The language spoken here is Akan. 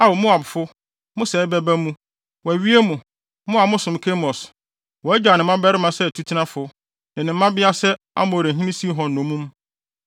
Ao Moabfo, mo sɛe bɛba mu! Wɔawie mo, mo a mosom Kemos! Wagyaw ne mmabarima sɛ atutenafo, Ne ne mmabea sɛ Amorihene Sihon nnommum.